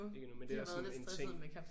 Ikke endnu men det er også sådan en ting